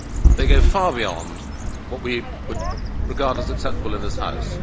They go far beyond what we would regard as acceptable in this House.